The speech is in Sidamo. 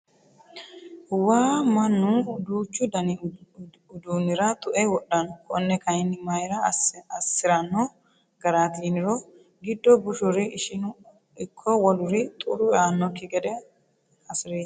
Waa mannu duuchu dani uduunira tue wodhano kone kayinni mayra assirano garati yiniro giddo bushuri ishinu ikko woluri xuru eanokki gede hasireti.